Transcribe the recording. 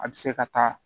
A bɛ se ka taa